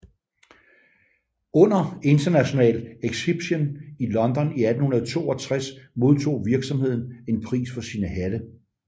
Under International Exhibition i London i 1862 modtog virksomheden en pris for sine hatte